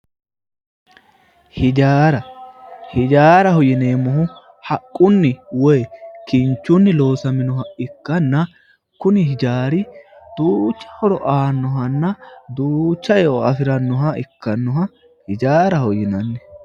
Hijaara, hijaaraho yineemmohu haqqunni woy kinchunni loosaminoha ikkanna, kuni hijaari duucha horo aanno, manna duucha eo afi'rannoha ikkannoha ijaaraho yinanni